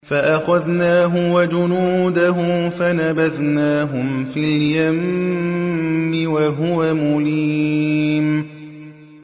فَأَخَذْنَاهُ وَجُنُودَهُ فَنَبَذْنَاهُمْ فِي الْيَمِّ وَهُوَ مُلِيمٌ